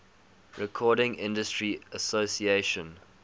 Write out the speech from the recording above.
recording industry association